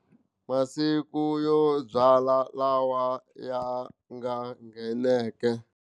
Masiku yo byala lawa ya nga ngheneke.